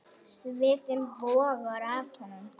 Svitinn bogar af honum.